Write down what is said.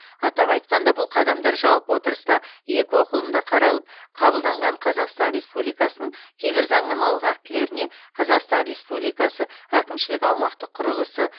атап айқанда бұл қадамдар жалпы отырыста екі оқылымда қаралып қабылданған қазақстан республикасының кейбір заңнамалық актілеріне қазақстан республикасы әкімшілік аумақтық құрылысы